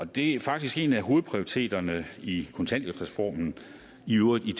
det er faktisk en af hovedprioriteterne i kontanthjælpsreformen i øvrigt i